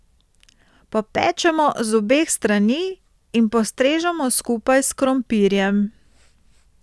Popečemo z obeh strani in postrežemo skupaj s krompirjem.